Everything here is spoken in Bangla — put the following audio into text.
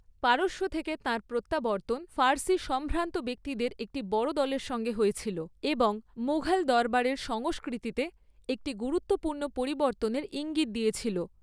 পারস্য থেকে তাঁর প্রত্যাবর্তন ফার্সি সম্ভ্রান্ত ব্যক্তিদের একটি বড় দলের সঙ্গে হয়েছিল এবং মুঘল দরবারের সংস্কৃতিতে একটি গুরুত্বপূর্ণ পরিবর্তনের ইঙ্গিত দিয়েছিল।